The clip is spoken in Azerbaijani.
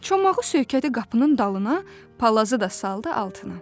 Çomağı söykədi qapının dalına, palazı da saldı altına.